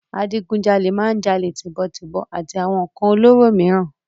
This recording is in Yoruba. Adígun jalè máa ń jalè tíbọn tibòn àti àwọn ǹkàn olóró mìíràn.